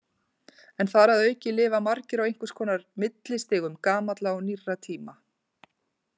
En þar að auki lifa margir á einhvers konar millistigum gamalla og nýrra tíma.